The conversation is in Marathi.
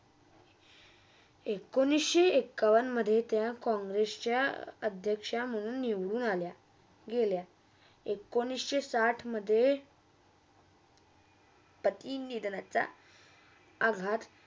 एकोणीस एकण्णवमधे त्या काँग्रेसच्या अध्क्ष्य म्हणून निवडून आल्या. गेल्या. एकोणीस साठमधे ते King leader असा आघात